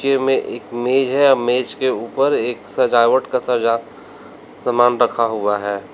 के में एक मेज है। मेज के ऊपर एक सजावट का सजा समान रखा हुआ है।